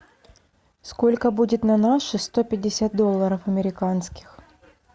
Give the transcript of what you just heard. сколько будет на наши сто пятьдесят долларов американских